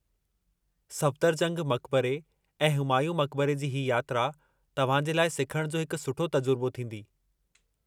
सफदरजंग मकबरे ऐं हुमायूं मकबरे जी हीउ यात्रा तव्हांजे लाइ सिखणु जो हिकु सुठो तजुर्बो थींदी।